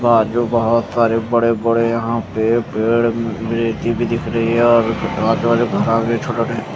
और ये भोत बड़े बड़े यहाँ पर पेड़ है रेती भी दिख रही है और --